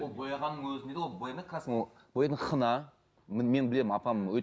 ол бояғанның өзінде ол бояйтын хна мен білемін апам